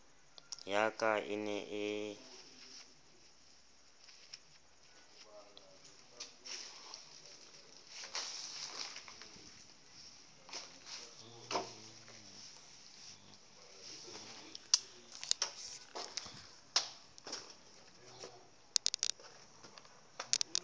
ya ka e ne e